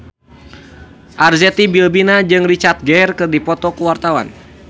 Arzetti Bilbina jeung Richard Gere keur dipoto ku wartawan